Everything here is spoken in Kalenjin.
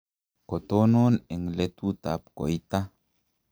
kotonon eng' letutab koita